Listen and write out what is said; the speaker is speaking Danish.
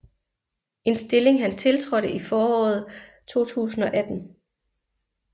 En stilling han tiltrådte i foråret 2018